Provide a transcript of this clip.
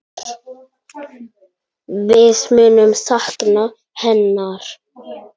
Við munum sakna hennar.